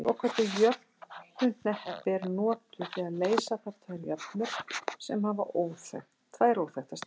Svokölluð jöfnuhneppi eru notuð þegar leysa þarf tvær jöfnur sem hafa tvær óþekktar stærðir.